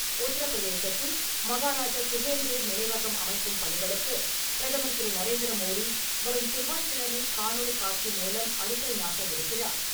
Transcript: உத்தரபிரதேசத்தில் மகாராஜா சுஹேல் தேவ் நினைவகம் அமைக்கும் பணிகளுக்கு பிரதமர் திரு. நரேந்திர மோடி, வரும் செவ்வாய்க் கிழமை காணொளி காட்சி மூலம் அடிக்கல் நாட்டவிருக்கிறார்.